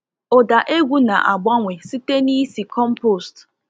Ụda egwu na-agbanwe site n'ísì compost.